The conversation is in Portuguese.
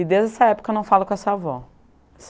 E desde essa época eu não falo essa avó.